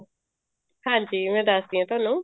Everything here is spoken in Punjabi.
ਹਾਂਜੀ ਮੈਂ ਦੱਸ ਦੀ ਆ ਤੁਹਾਨੂੰ